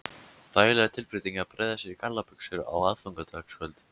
Þægileg tilbreyting að bregða sér í gallabuxur á aðfangadagskvöld